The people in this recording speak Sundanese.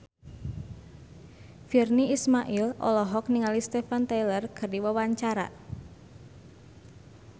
Virnie Ismail olohok ningali Steven Tyler keur diwawancara